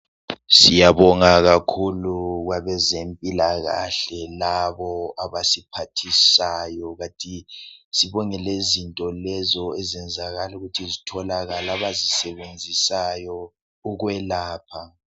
Siyabonga kakhulu kwabezempilakahle labo abasiphathisayo. Sibonga lokutholakala kwezinto abazisebenzisayo ukwelapha.